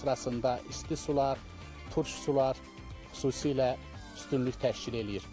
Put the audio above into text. Bunların sırasında isti sular, turş sular xüsusilə üstünlük təşkil eləyir.